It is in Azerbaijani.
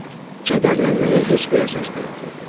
Kədərlənməyə heç bir əsas da yox idi.